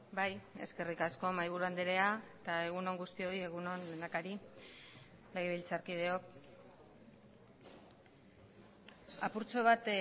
bai eskerrik asko mahaiburuandrea eta egun on guztioi egun on lehendakari legebiltzarkideok apurtxo bat